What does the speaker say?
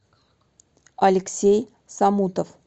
алексей самутов